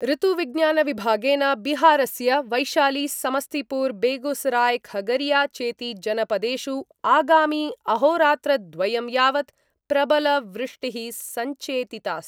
ऋतुविज्ञानविभागेन बिहारस्य वैशालीसमस्तीपुरबेगूसरायखगरीया चेति जनपदेषु आगामि अहोरात्रद्वयं यावत् प्रबल वृष्टिः संचेतितास्ति।